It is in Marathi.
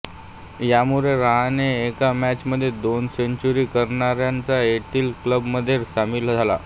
यामुळे रहाणे एका मॅच मध्ये दोन सेंचुरी करणारांच्या एलिट क्लब मध्ये सामील झाला